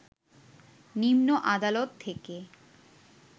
নিম্ন আদালত থেকে